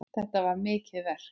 Þetta er mikið verk.